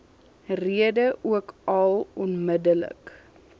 rede ookal onmiddellik